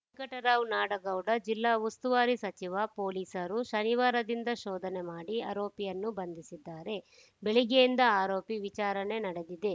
ವೆಂಕಟರಾವ್‌ ನಾಡಗೌಡ ಜಿಲ್ಲಾ ಉಸ್ತುವಾರಿ ಸಚಿವ ಪೊಲೀಸರು ಶನಿವಾರದಿಂದ ಶೋಧನೆ ಮಾಡಿ ಆರೋಪಿಯನ್ನು ಬಂಧಿಸಿದ್ದಾರೆ ಬೆಳಗ್ಗೆಯಿಂದ ಆರೋಪಿ ವಿಚಾರಣೆ ನಡೆದಿದೆ